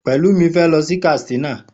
Pelumi fé lọ sí Katsina